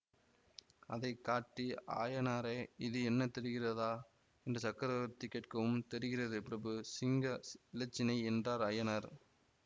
அதை காட்டி ஆயனாரே இது என்ன தெரிகிறதா என்று சக்கரவர்த்தி கேட்கவும் தெரிகிறது பிரபு சிங்க ஸ் இலச்சினை என்றார் அயனார்